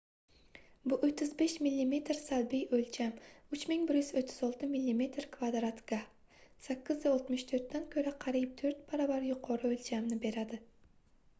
bu 35 mm salbiy o'lcham 3136 mm² ga 864 dan ko'ra qariyb to'rt baravar yuqori o'lchamni beradi